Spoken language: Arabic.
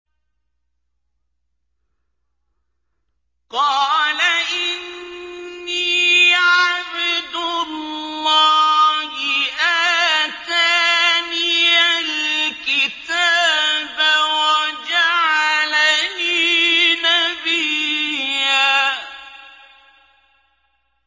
قَالَ إِنِّي عَبْدُ اللَّهِ آتَانِيَ الْكِتَابَ وَجَعَلَنِي نَبِيًّا